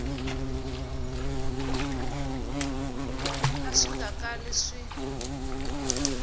a swi nga kali swi